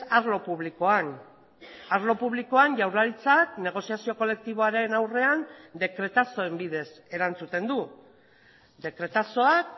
arlo publikoan arlo publikoan jaurlaritzak negoziazio kolektiboaren aurrean dekretazoen bidez erantzuten du dekretazoak